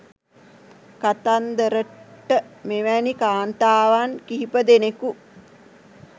කතන්දරට මෙවැනි කාන්තාවන් කිහිප දෙනෙකු